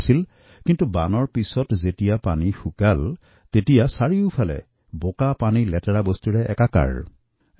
এই বানত বহু লোকৰ প্ৰাণহানি হোৱাৰ লগতে পানী কমি কমি অহাৰ লগে লগে ঠায়ে ঠায়ে লেতেৰা আৱৰ্জনা পৰি তখা বুলি জানিব পাৰিছোঁ